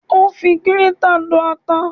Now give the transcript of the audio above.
Ó fi gírétà lọ ata